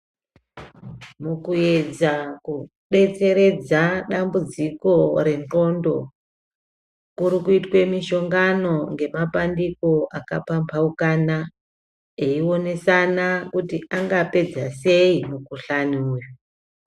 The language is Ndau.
Mukuyedza kudetseredza dambudziko rendxondo kurikuitwe mishongano nemabandiko akapambaukana veionesana kuti vangapedza sei mukuhlani uyu.